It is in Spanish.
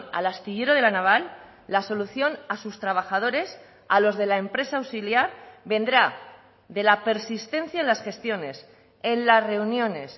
al astillero de la naval la solución a sus trabajadores a los de la empresa auxiliar vendrá de la persistencia en las gestiones en las reuniones